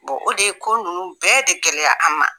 o de ye ko ninnu bɛɛ de gɛlɛya an ma